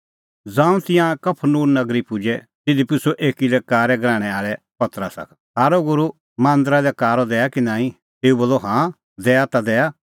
ज़ांऊं तिंयां कफरनहूम नगरी पुजै तिधी पुछ़अ एकी लै कारै गराहणै आल़ै पतरसा का थारअ गूरू मांदरा लै कारअ दैआ कि नांईं तेऊ बोलअ हाँ दैआ ता दैआ